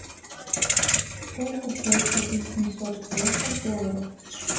сколько стоит купить семьсот песо в долларах